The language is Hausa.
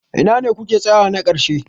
Ina ne kuke tsayawa na ƙarshe?